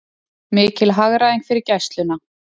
Mikil hagræðing fyrir Gæsluna